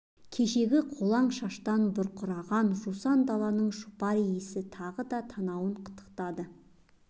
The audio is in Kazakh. кешегі қолаң шаштан бұрқыраған жусан даланың жұпар иісі тағы да танауын қытықтады